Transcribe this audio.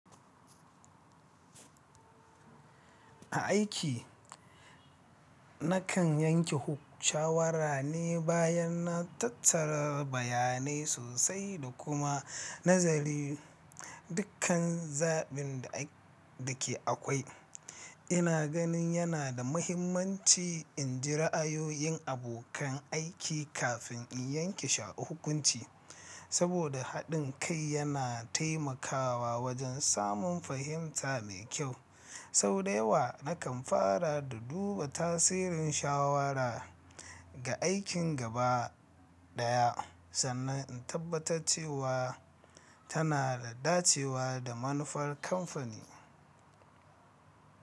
A aiki, nakan yanke huk- shawara ne bayan na tattara bayanai sosai da kuma nazari dukkan zabin da ke akwai. Ina ganin yana da mahimmanci in ji ra'ayoyin abokan aiki kafin in yanke sha- hukunci, saboda haɗin kai yana taimakawa wajen samun fahimta mai kyau. Sau da yawa, nakan fara da duba tasirin shawara ga aikin gaba ɗaya sannan in tabbatar cewa tana da dacewa da manufar kamfani.